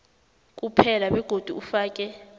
kuphela begodu ufake